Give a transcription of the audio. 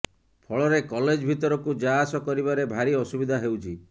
ଫଳରେ କଲେଜ ଭିତରକୁ ଯାଆସ କରିବାରେ ଭାରି ଅସୁବିଧା ହେଉଛି